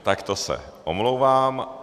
Tak to se omlouvám.